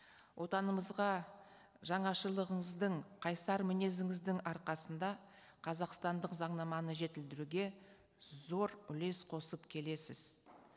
отанымызға жанашырлығыңыздың қайсар мінезіңіздің арқасында қазақстандық заңнаманы жетілдіруге зор үлес қосып келесіз